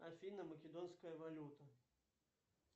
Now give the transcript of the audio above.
афина македонская валюта